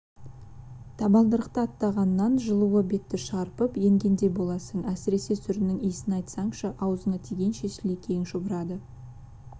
табалдырықты аттағаннан жылуы бетті шарпып енгендей боласың әсіресе сүрінің иісін айтсаңшы аузыңа тигенше сілекейің шұбырады